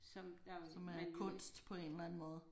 Som ja man jo ikke